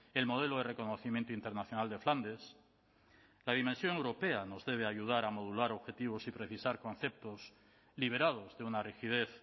el modelo de reconocimiento internacional de flandes la dimensión europea nos debe ayudar a modular objetivos y precisar conceptos liberados de una rigidez